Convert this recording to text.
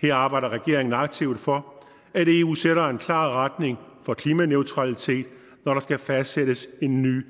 her arbejder regeringen aktivt for at eu sætter en klar retning for klimaneutralitet når der skal fastsættes en ny